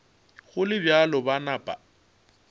go le bjalo ba napa